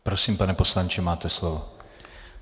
Prosím, pane poslanče, máte slovo.